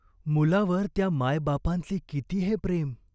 मुलावर त्या मायबापांचे किती हे प्रेम!